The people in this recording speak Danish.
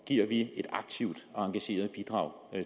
giver vi et aktivt og engageret bidrag